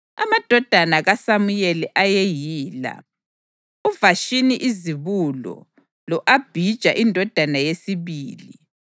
Amadodana kaSamuyeli ayeyila: uVashini izibulo lo-Abhija indodana yesibili.